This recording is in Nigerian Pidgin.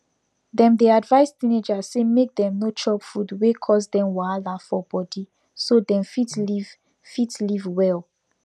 dem dey advise teenagers say make dem no chop food wey cause dem wahala for body so dem fit live fit live well